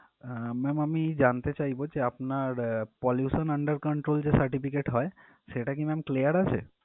আহ ma'am আমি জানতে চাইবো যে আপনার pollution under control যে certificate হয় সেটা কি clear আছে?